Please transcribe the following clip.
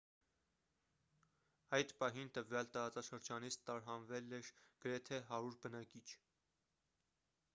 այդ պահին տվյալ տարածաշրջանից տարհանվել էր գրեթե 100 բնակիչ